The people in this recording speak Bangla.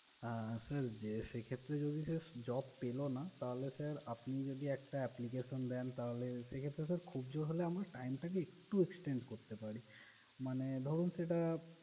আহ sir যে সেক্ষেত্রে যদি sir job পেলো না, তাহলে sir আপনি যদি একটা application দেন, তাহলে সেক্ষেত্র খুব জোর হলে আমরা time টাকে একটু extend করতে পারি। মানে ধরুন সেটা